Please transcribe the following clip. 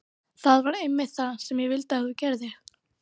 Það var einmitt það sem ég vildi að þú gerðir.